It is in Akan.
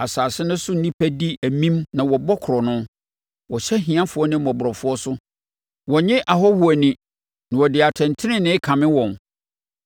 Asase no so nnipa di amin na wɔbɔ korɔno; wɔhyɛ ahiafoɔ ne mmɔborɔfoɔ so, wɔnnye ahɔhoɔ ani na wɔde atɛntenenee kame wɔn.